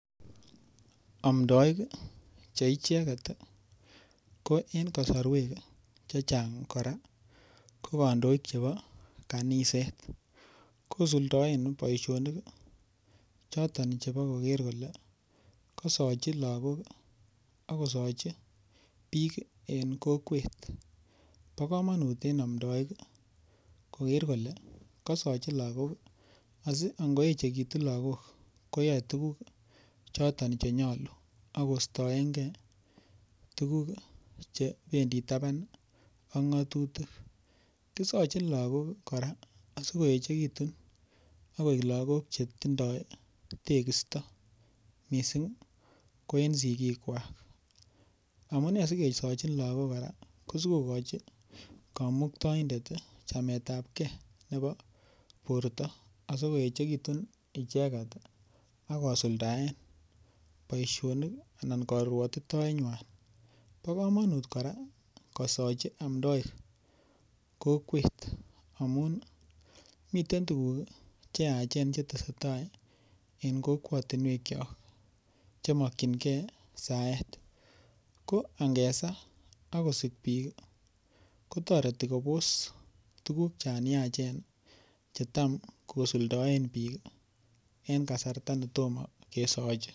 Omdoik che icheget ko ing' kosorwek chechang' kora ko kandoik chebo kaniset kosuldaen boishonik choton chebo koker kole kasochi lakok akosochi biik eng' kokwet bo kamanut en omdoik koker kole kasochi lakok asi angoechekitu lakok koyoei tukuk chotok chenyolu akoistoengei tukuk chebendi taban ak ng'otutik kisochin lakok kora asikoechekitun akoek lakok chetindoi tekisto mising' ko en sikikwak amune sikesochin lakok kora ko sikokochi kamuktoidet chametab kei nebo borto asikoechekitun icheget akosuldaen boishonik en karwotitoenywai bo kamanut kora kosochi omdoik kokwet amun miten tukuk cheyachen cheteseitai en kokwotinwek cho chemokchingei saet ko angesaa akosik biik kotoreti kobos tukuk chon yachen chetam kosuldoen biik en kasarta netomo kesochi